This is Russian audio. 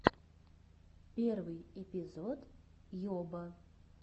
первый эпизод йоба